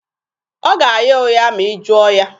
Ọ ga-agha ụgha ma ị jụọ ya.